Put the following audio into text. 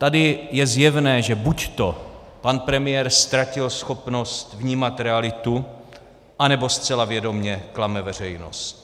Tady je zjevné, že buďto pan premiér ztratil schopnost vnímat realitu, anebo zcela vědomě klame veřejnost.